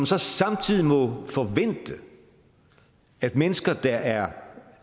så samtidig må forvente at mennesker der er